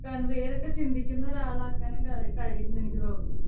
വേറിട്ട് ചിന്തിക്കുന്ന ഒരാളാക്കാനും ക കഴിയും എന്ന് എനിക്ക് തോന്നുന്നു.